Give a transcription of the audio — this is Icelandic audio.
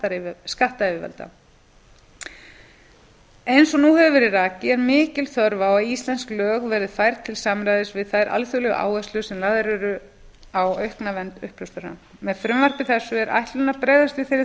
að greiða til skattyfirvalda eins og nú hefur verið rakið er mikil þörf á því að íslensk lög verði færð til samræmis við þær alþjóðlegu áherslur sem lagðar eru á aukna vernd uppljóstrara með frumvarpi þessu er ætlunin að bregðast við þeirri